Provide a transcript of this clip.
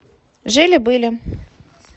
жили были